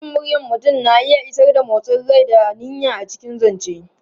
Sautin muryar mutum na iya isar da motsin rai da niyya a cikin zance.